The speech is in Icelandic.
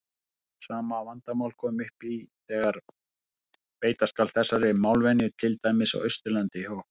Sama vandamál kemur upp þegar beita skal þessari málvenju til dæmis á Austurlandi hjá okkur.